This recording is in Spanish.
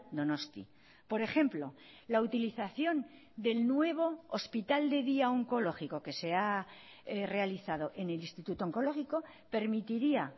donosti por ejemplo la utilización del nuevo hospital de día oncológico que se ha realizado en el instituto oncológico permitiría